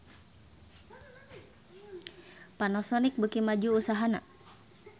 Panasonic beuki maju usahana